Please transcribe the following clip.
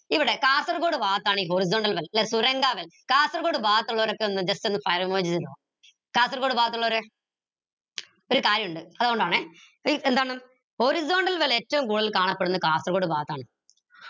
ഇവിടെ കാസർഗോഡ് ഭാഗത്താണ് ഈ horizontal wells ല്ലെ കാസർഗോഡ് ഭാഗത്ത് ഉള്ളോരൊക്കെ ഒന്ന് just ഒന്ന് fire emojis ഇടോ കാസർഗോഡ് ഭാഗത്തുള്ളോർ ഒരു കാര്യോണ്ട് അതോണ്ടാണെ എന്താന്ന് horizontal well ഏറ്റവും കൂടുതൽ കാണപ്പെടുന്നത് കാസർഗോഡ് ഭാഗത്താണ്